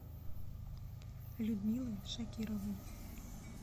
людмилы шакировой